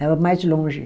Dava mais longe.